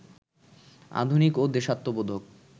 আধুনিক ও দেশাত্মবোধক